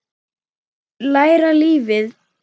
Læra lífið.